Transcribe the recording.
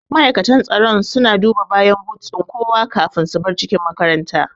Ma'aikatan tsaro suna duba bayan but ɗin kowa kafin su bar cikin makarantar